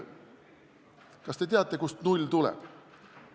Kas te teate, kust "null" tuleb?